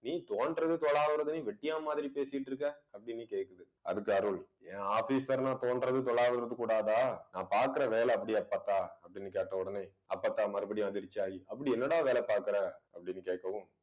நீ தோண்டுறது துலாவுறதுன்னு வெட்டியான் மாதிரி பேசிட்டு இருக்க அப்பிடின்னு கேட்குது. அதுக்கு அருள் ஏன் officer ன்ன தோண்டுறது துலாவுறது இருக்கக் கூடாதா நான் பார்க்கிற வேலை அப்படி அப்பத்தா அப்படின்னு கேட்ட உடனே அப்பத்தா மறுபடியும் அதிர்ச்சி ஆகி அப்படி என்னடா வேலை பார்க்கிற அப்பிடின்னு கேட்கவும்